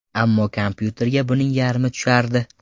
Ammo kompyuterga buning yarmi tushardi.